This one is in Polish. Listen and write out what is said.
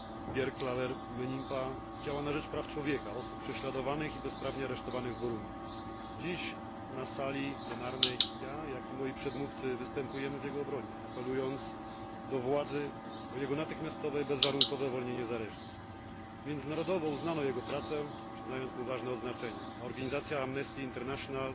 Pierre Claver Mbonimba działa na rzecz praw człowieka, osób prześladowanych i bezprawnie aresztowanych w Burundi. Dziś na sali plenarnej zarówno ja, jak i moi przedmówcy występujemy w jego obronie, apelując do władzy o jego natychmiastowe i bezwarunkowe uwolnienie z aresztu. Międzynarodowo uznano jego pracę, przyznając mu ważne odznaczenia, a organizacja Amnesty International